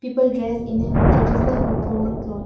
people dress in a traditional or formal cloth.